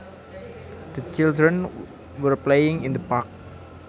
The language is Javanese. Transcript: The children were playing in the park